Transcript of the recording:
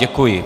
Děkuji.